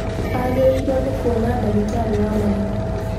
Agĩrĩrĩirwo nĩ kuona ndagĩtari wa magego